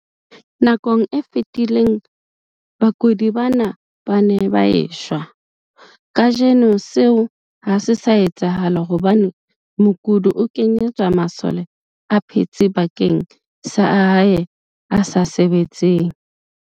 Nakong e fetileng, bakudi bana ba ne ba e shwa. Kajeno seo ha se sa etsahala hobane mokudi o kenyetswa masole a phetseng bakeng sa a hae a sa sebetseng.